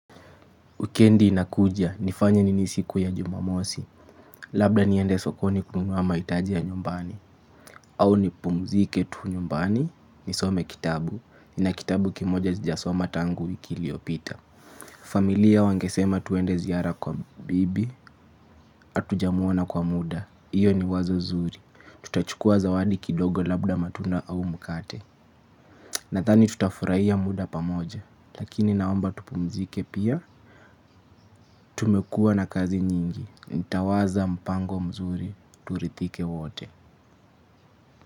Wikendi inakuja, nifanye nini siku ya jumamosi, labda niende sokoni kununua mahitaji ya nyumbani. Au nipumzike tu nyumbani, nisome kitabu, nina kitabu kimoja zijasoma tangu wiki ikiliyopita. Familia wangesema twende ziara kwa bibi, hatujamwona kwa muda, hiyo ni wazo zuri. Tutachukua zawadi kidogo labda matunda au mkate. Nadhani tutafurahia muda pamoja, lakini naomba tupumzike pia. Tumekuwa na kazi nyingi. Nitawaza mpango mzuri. Turidhike wote.